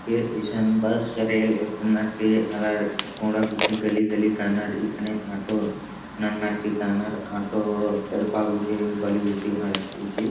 के इससन bus rail एतना के आलर कोंडा गुट्ठी गली गली काना रइई खने आटो नननार की कानर आटो एड़पा गुटी बली गुटी अड़सती ची---